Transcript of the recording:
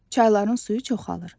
Çayların suyu çoxalır.